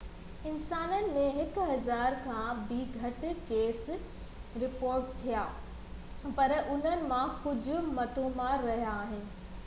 انسانن ۾ هڪ هزار کان به گهٽ ڪيس رپورٽ ٿيا آهن پر انهن مان ڪجهه موتمار رهيا آهن